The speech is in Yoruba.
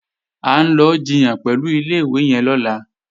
À ń lọ jiyàn pẹ̀lú ilé-ìwé yẹn lọ́la